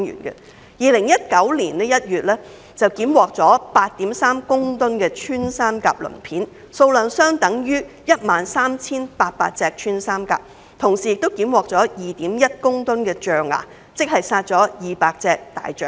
2019年1月，當局檢獲 8.3 公噸穿山甲鱗片，數量相當於 13,800 隻穿山甲，同時亦檢獲 2.1 立方公噸象牙，相當於200隻大象。